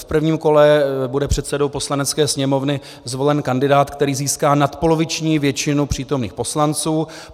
V prvním kole bude předsedou Poslanecké sněmovny zvolen kandidát, který získá nadpoloviční většinu přítomných poslanců.